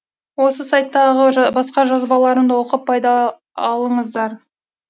осы сайттағы басқа жазбаларымды оқып пайда алыңыздар